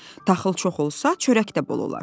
Taxıl çox olsa, çörək də bol olar.